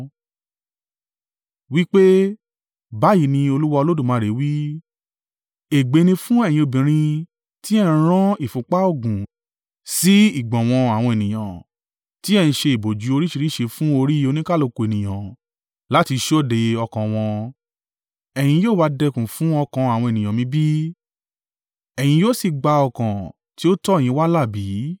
wí pé, ‘Báyìí ni Olúwa Olódùmarè wí. Ègbé ni fún ẹ̀yin obìnrin tí ẹ ń rán ìfúnpá òògùn sí ìgbọ̀nwọ́ àwọn ènìyàn, tí ẹ ń ṣe ìbòjú oríṣìíríṣìí fún orí oníkálùkù ènìyàn láti ṣọdẹ ọkàn wọn. Ẹ̀yin yóò wa dẹkùn fún ọkàn àwọn ènìyàn mi bí? Ẹ̀yin yóò sì gba ọkàn ti ó tọ̀ yín wá là bí?